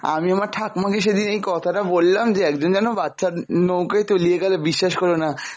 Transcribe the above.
আমি আমার ঠাকুমা কে সেদিন এই কথা টা বললাম, যে একজন যেন বাচ্চা নৌকায় তলিয়ে গেল বিশ্বাস করল না,